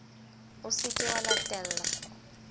o se ke wa latella